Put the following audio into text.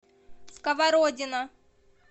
сковородино